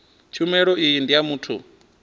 tshumelo iyi ndi ya muthu